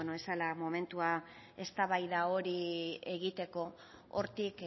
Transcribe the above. ez zela momentua eztabaida hori egiteko hortik